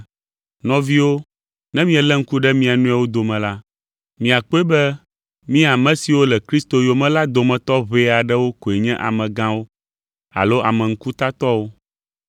Nɔviwo, ne mielé ŋku ɖe mia nɔewo dome la, miakpɔe be mí ame siwo le Kristo yome la, dometɔ ʋɛ aɖewo koe nye amegãwo alo ame ŋkutatɔwo.